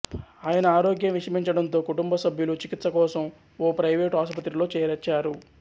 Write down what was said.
ఆయన ఆరోగ్యం విషమించడంతో కుటుంబసభ్యులు చికిత్స కోసం ఓ ప్రైవేటు ఆసుపత్రిలో చేర్చారు